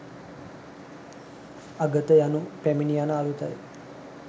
අගත යනු පැමිණි යන අරුතයි